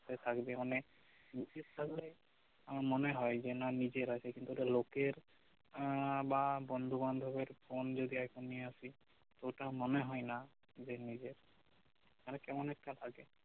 হাতে থাকবে অনেক নিজের থাকলে আমার মনে হই যে না নিজের আছে কিন্তু ওটা লোকের আহ বা বন্ধু বান্ধব এর ফোন যদি একবার নিয়ে আসি ওটা মনে হই না নিজের আর কেমন একটা লাগে